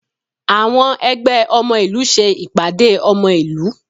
Àwọn ẹgbẹ́ ọmọ ìlú ṣe ìpàdé ọmọ ìlú